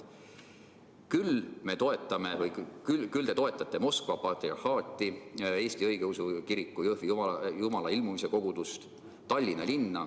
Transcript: Küll te toetate Moskva Patriarhaadi Eesti Õigeusu Kiriku Jõhvi Jumalailmumise Kogudust ja Tallinna linna.